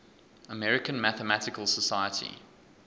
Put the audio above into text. american mathematical society